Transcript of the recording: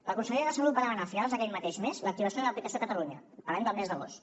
la consellera de salut va demanar a finals d’aquell mateix mes l’activació de l’aplicació a catalunya parlem del mes d’agost